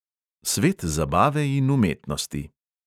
Svet zabave in umetnosti.